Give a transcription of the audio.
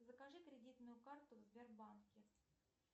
закажи кредитную карту в сбербанке